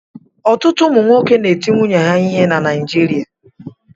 Ọtụtụ ụmụ nwoke na-eti nwunye ha ihe na Naịjirịa.